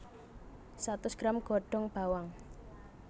Satus gram godhong bawang